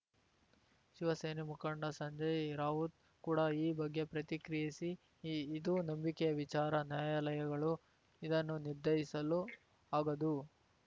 ಶಿವಸೇನೆ ಮುಖಂಡ ಸಂಜಯ್‌ ರಾವುತ್‌ ಕೂಡ ಈ ಬಗ್ಗೆ ಪ್ರತಿಕ್ರಿಯಿಸಿ ಇದು ನಂಬಿಕೆಯ ವಿಚಾರ ನ್ಯಾಯಾಲಯಗಳು ಇದನ್ನು ನಿರ್ಧರಿಸಲು ಆಗದು